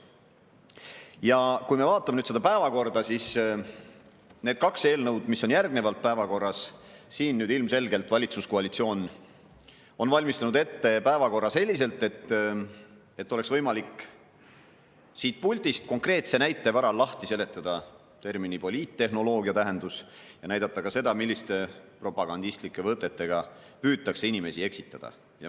Ja kui me vaatame päevakorda ja neid kaht eelnõu, mis on järgmisena päevakorras, siis ilmselgelt valitsuskoalitsioon on valmistanud päevakorra ette selliselt, et oleks võimalik siit puldist konkreetse näite varal lahti seletada termini "poliittehnoloogia" tähendus ja näidata ka seda, milliste propagandistlike võtetega püütakse inimesi eksitada.